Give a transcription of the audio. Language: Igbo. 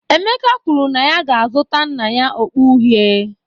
Emeka kwuru na ya ga-azụta nna ya okpu uhie